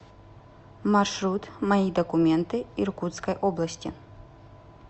маршрут мои документы иркутской области